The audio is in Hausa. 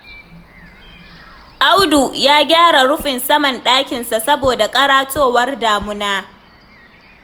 Audu ya gyara rufin saman ɗakinsa saboda ƙaratowar damuna